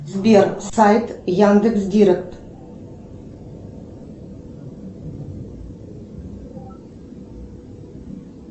сбер сайт яндекс директ